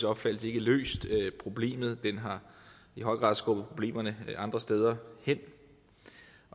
opfattelse ikke løst problemet den har i høj grad skubbet problemerne andre steder hen